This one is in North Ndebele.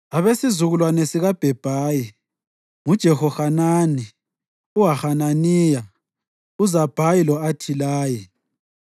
Abesizukulwane sikaBhebhayi: nguJehohanani, uHananiya, uZabhayi lo-Athilayi.